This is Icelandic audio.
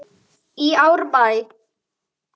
í Árbæ.